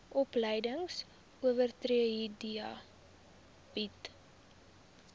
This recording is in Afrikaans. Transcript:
opleidingsowerheid theta bied